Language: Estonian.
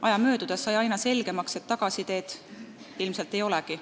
Aja möödudes sai aga aina selgemaks, et tagasiteed ilmselt ei olegi.